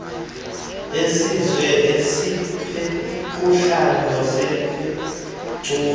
isizwe esiphuhlayo siphucule